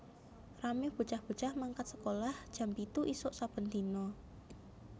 Rame bocah bocah mangkat sekolah jam pitu isuk saben dino